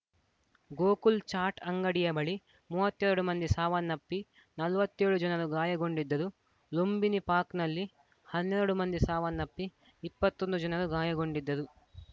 ಗೋಕುಲ್‌ ಚಾಟ್‌ ಅಂಗಡಿಯ ಬಳಿ ಮೂವತ್ತ್ ಎರಡು ಮಂದಿ ಸಾವನ್ನಪ್ಪಿ ನಲವತ್ತೆಳು ಜನರು ಗಾಯಗೊಂಡಿದ್ದರು ಲುಂಬಿನಿ ಪಾರ್ಕ್ನಲ್ಲಿ ಹನ್ನೆರಡು ಮಂದಿ ಸಾವನ್ನಪ್ಪಿ ಇಪ್ಪತ್ತೊಂದು ಜನರು ಗಾಯಗೊಂಡಿದ್ದರು